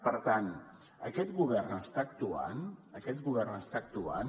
per tant aquest govern està actuant aquest govern està actuant